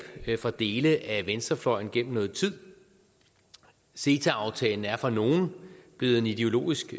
fra dele af venstrefløjen gennem noget tid ceta aftalen er for nogle blevet en ideologisk